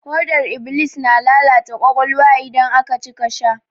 Hodar iblis na lalata ƙwaƙwalwa idan aka cika sha.